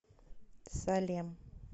салем